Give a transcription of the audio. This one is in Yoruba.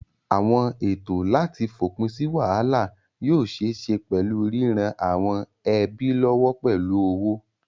Àwọn ètò láti fòpin sí wàhálà yóò ṣeé ṣe pẹ̀lú ríran àwọn ẹbí lọ́wọ́ pẹ̀lú owó.